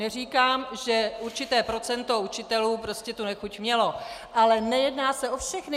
Neříkám, že určité procento učitelů tu nechuť mělo, ale nejedná se o všechny.